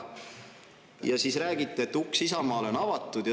Ja siis räägite, et uks Isamaale on avatud.